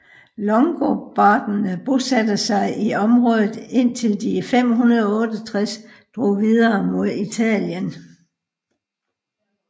Langobarderne bosatte sig i området indtil de i 568 drog videre mod Italien